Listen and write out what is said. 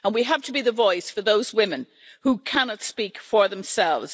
And we have to be the voice for those women who cannot speak for themselves.